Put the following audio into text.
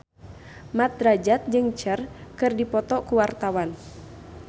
Mat Drajat jeung Cher keur dipoto ku wartawan